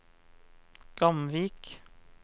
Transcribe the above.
Gamvik